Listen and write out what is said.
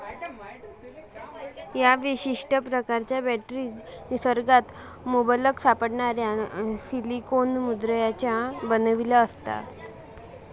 या विशिष्ट प्रकारच्या बॅटरीज निसर्गात मुबलक सापडणाऱ्या सिलीकोन मुलद्रव्यांच्या बनविल्या असता.